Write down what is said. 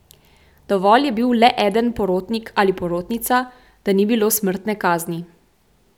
Dovolj je bil le eden porotnik ali porotnica, da ni bilo smrtne kazni.